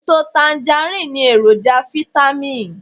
Eso tangaríìnì ní èròjà fitamì